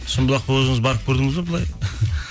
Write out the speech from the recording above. шымбұлаққа өзіңіз барып көрдіңіз бе былай